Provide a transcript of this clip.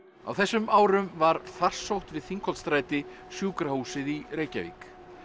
á þessum árum var farsótt við Þingholtsstræti sjúkrahúsið í Reykjavík